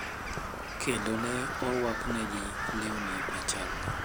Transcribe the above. Kendo ne orwaknegi lewni machalre.